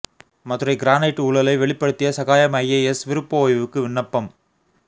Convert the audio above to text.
Madurai granite ஊழலை வெளிப்படுத்திய Sagayam IAS விருப்ப ஓய்வுக்கு விண்ணப்பம்